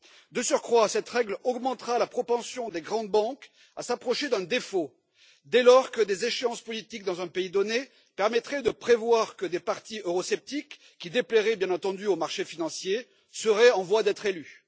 De surcroît, cette règle augmentera la propension des grandes banques à s'approcher d'un défaut dès lors que des échéances politiques dans un pays donné permettraient de prévoir que des partis eurosceptiques, qui déplairaient bien entendu aux marchés financiers, seraient en voie d'être élus.